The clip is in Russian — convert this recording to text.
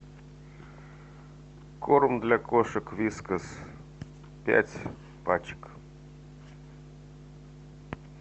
корм для кошек вискас пять пачек